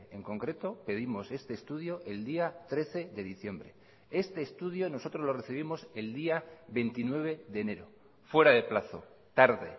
en concreto pedimos este estudio el día trece de diciembre este estudio nosotros lo recibimos el día veintinueve de enero fuera de plazo tarde